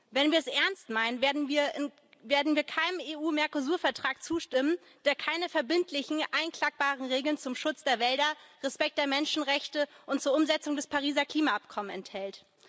Wenn wir es ernst meinen, werden wir keinem EU Mercosur Vertrag zustimmen, der keine verbindlichen, einklagbaren Regeln zum Schutz der Wälder, Respekt der Menschenrechte und zur Umsetzung des Pariser Klimaabkommens enthält.